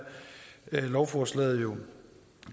lovforslaget jo